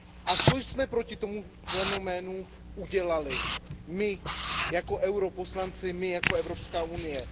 A co jsme proti tomu fenoménu udělali? My jako europoslanci, my jako Evropská unie?